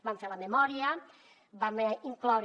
vam fer la memòria vam incloure